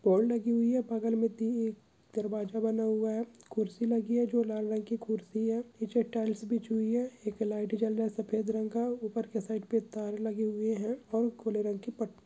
लगी हुई है बगल मे ती दरवाजा बना हुआ है खुरसी लगी है जो लाल रंग की खुरसी है। पीछे टाइल्स ( बिछी हुई है। एक लाइट जल रहा सफेद रंग का। ऊपर के साइड ( पे तार लगे हुए है और खुले रंग की पट --